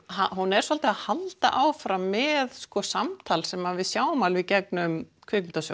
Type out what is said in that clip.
hún er svolítið að halda áfram með samtal sem við sjáum alveg í gegnum